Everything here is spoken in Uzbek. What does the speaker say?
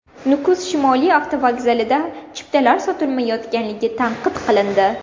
Nukus shimoliy avtovokzalida chiptalar sotilmayotgani tanqid qilindi.